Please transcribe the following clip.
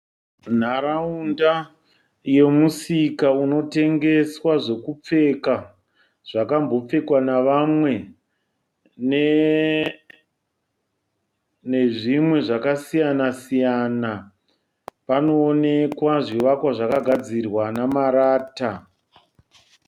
Nharaunda yemusika unotengeswa zvekupfeka zvakambopfekwa nevamwe nezvimwe zvakasiyana siyana. Panoonekwa zvivakwa zvakagadzirwa namarata.